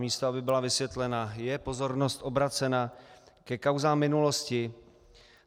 Místo aby byla vysvětlena, je pozornost obracena ke kauzám minulosti.